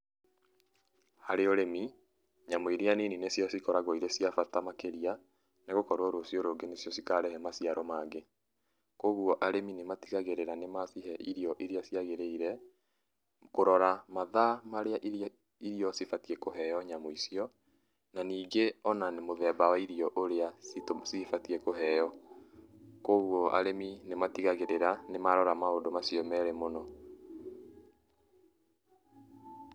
Harĩ ũrĩmi, nyamũ iria nini nĩcio cikoragwo cire cia bata makĩrĩa nĩgũkorwo rũcio rũngĩ nĩcio cikarehe maciaro mangĩ, koguo arĩmi nĩmatigagĩrĩra nĩmacihe irio iria ciagĩrĩire, kũrora mathaa marĩa irio cibatie kũheo nyamũ icio, na ningĩ ona mũthemba wa irio iria cibatie kũheo. Koguo arĩmi nĩmatigagĩrĩra nĩmarora maũndũ macio merĩ mũno.